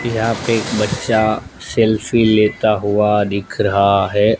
कि यहां पे एक बच्चा सेल्फी लेता हुआ दिख रहा है।